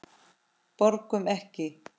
Borgum Ekki!